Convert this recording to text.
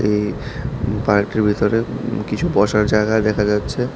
এই পার্কটির ভিতরে উম কিছু বসার জায়গা দেখা যাচ্ছে।